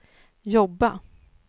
jobba